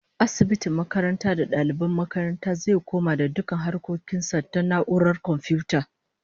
Asibitin ma'aikata da daliban makarantar zai komai da dukkan harkokin sa ta na'urar komfiyuta